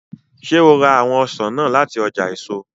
Ṣe o ra awọn ọsan naa lati ọja eso?